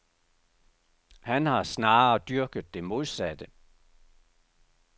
Han har snarere dyrket det modsatte.